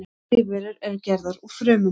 Allar lífverur eru gerðar úr frumum.